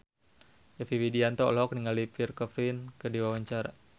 Yovie Widianto olohok ningali Pierre Coffin keur diwawancara